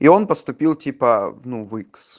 и он поступил типа ну в икс